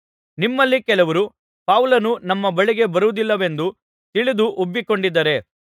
ನಿಮ್ಮಲ್ಲಿ ಕೆಲವರು ಪೌಲನು ನಮ್ಮ ಬಳಿಗೆ ಬರುವುದಿಲ್ಲವೆಂದು ತಿಳಿದು ಉಬ್ಬಿಕೊಂಡಿದ್ದಾರೆ